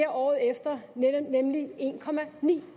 året efter nemlig en